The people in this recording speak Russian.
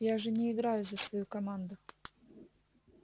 я же не играю за свою команду